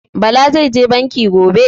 Bala zai je Banki gobe